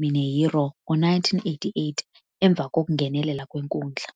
Mineiro ngo-1988 emva kokungenelela kwenkundla.